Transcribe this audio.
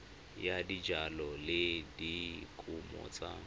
ya dijalo le dikumo tsa